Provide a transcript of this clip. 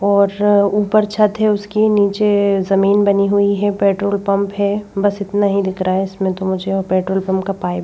और ऊपर छत है उसकी नीचे जमीन बनी हुई है पेट्रोल पंप है बस इतना ही दिख रहा है इसमें तो मुझे और पेट्रोल पंप का पाइप --